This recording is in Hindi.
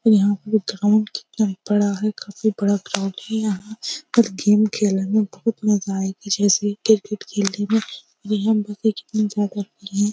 और यह प ग्राउंड कितना बड़ा है काफी बड़ा ग्राउंड है यहाँ और गेम खेलने में बहुत मजा आएगा जैसे क्रिकेट खेलने में हम बते कितनी ज्यादा होगी।